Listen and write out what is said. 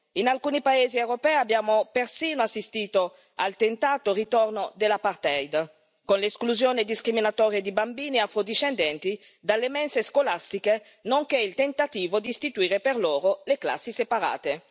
In alcuni paesi europei, abbiamo persino assistito al tentato ritorno dell'apartheid, con l'esclusione discriminatoria di bambini afro discendenti dalle mense scolastiche, nonché il tentativo di istituire per loro le classi separate.